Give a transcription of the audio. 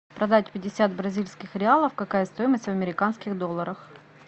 продать пятьдесят бразильских реалов какая стоимость в американских долларах